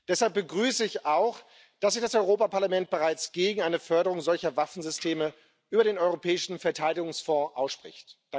Deshalb begrüße ich auch, dass sich das Europäische Parlament bereits gegen eine Förderung solcher Waffensysteme über den Europäischen Verteidigungsfonds ausspricht.